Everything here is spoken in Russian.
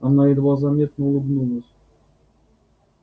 она едва заметно улыбнулась